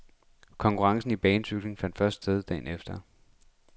Konkurrencen i banecykling fandt først sted dagen efter.